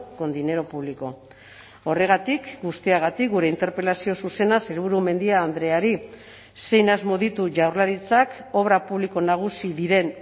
con dinero público horregatik guztiagatik gure interpelazio zuzena sailburu mendia andreari zein asmo ditu jaurlaritzak obra publiko nagusi diren